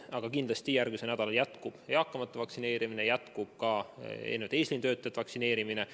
Aga kindlasti järgmisel nädalal jätkub eakate vaktsineerimine ja jätkub ka eesliinitöötajate vaktsineerimine.